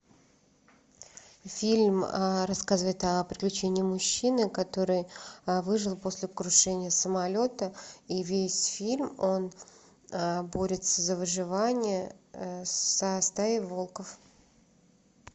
фильм рассказывает о приключении мужчины который выжил после крушения самолета и весь фильм он борется за выживание со стаей волков